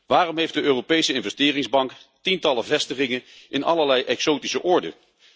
Waarom heeft de Europese Investeringsbank tientallen vestigingen in allerlei exotische oorden?